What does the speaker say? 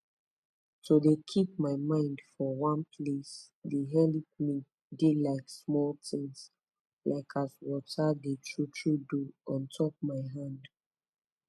to de keep my mind for one place de helep me de like smoll tins like as water d tru tru do ontop my hand